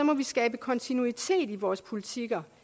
må vi skabe kontinuitet i vores politikker